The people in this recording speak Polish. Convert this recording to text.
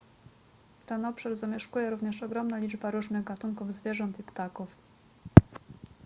ten obszar zamieszkuje również ogromna liczba różnych gatunków zwierząt i ptaków